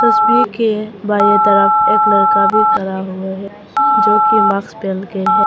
तस्वीर के बाई तरफ एक लड़का भी खड़ा हुआ है जो की माक्स पहन के हैं।